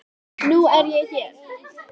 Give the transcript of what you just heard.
Nú er ég hér.